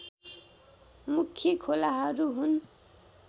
मुख्य खोलाहरू हुन्